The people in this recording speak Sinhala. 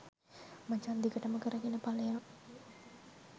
මචං දිගටම කරගෙන පලයන්